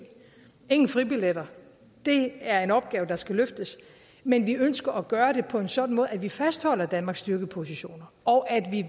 ingen fribilletter det er en opgave der skal løftes men vi ønsker at gøre det på en sådan måde at vi fastholder danmarks styrkeposition og at vi